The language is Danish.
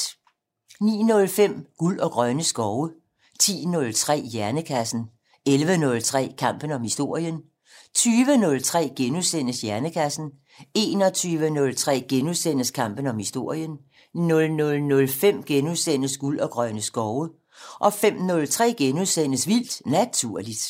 09:05: Guld og grønne skove 10:03: Hjernekassen 11:03: Kampen om historien 20:03: Hjernekassen * 21:03: Kampen om historien * 00:05: Guld og grønne skove * 05:03: Vildt Naturligt *